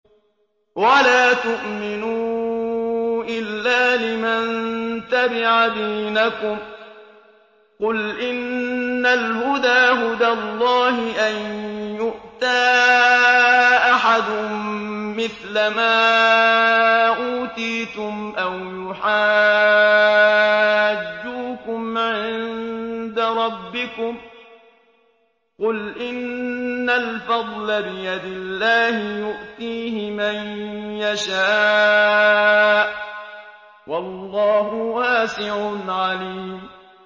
وَلَا تُؤْمِنُوا إِلَّا لِمَن تَبِعَ دِينَكُمْ قُلْ إِنَّ الْهُدَىٰ هُدَى اللَّهِ أَن يُؤْتَىٰ أَحَدٌ مِّثْلَ مَا أُوتِيتُمْ أَوْ يُحَاجُّوكُمْ عِندَ رَبِّكُمْ ۗ قُلْ إِنَّ الْفَضْلَ بِيَدِ اللَّهِ يُؤْتِيهِ مَن يَشَاءُ ۗ وَاللَّهُ وَاسِعٌ عَلِيمٌ